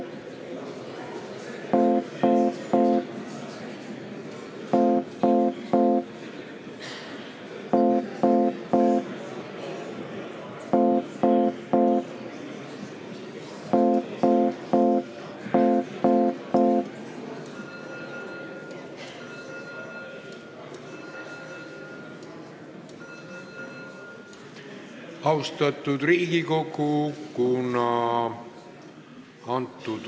Istungi lõpp kell 17.20.